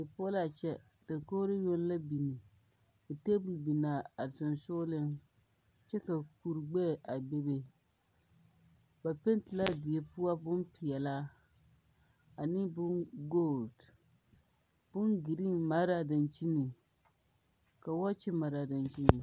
Die poɔ la a kyɛ dakogri yoŋ la biŋ ka tebol biŋ a sensoŋleŋ kyɛ ka kuri gbɛɛ a bebe ba pɛte la a die poɔ peɛlaa ane boŋ gɔɔle boŋ gerene mare dakyini ka wɔɔkye mare a dakyiniŋ.